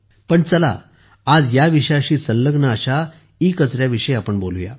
पण चला आज या विषयाशी संलग्न अशा ईकचऱ्याविषयी बोलू या